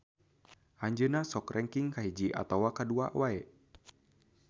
Anjeunna sok rengking kahiji atawa kadua wae.